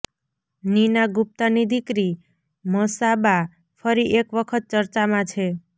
નીના ગુપ્તાની દીકરી મસાબા ફરી એક વખત ચર્ચામાં છે